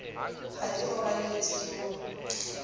ha di robaletse ke o